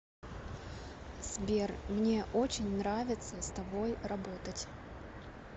сбер мне очень нравится с тобой работать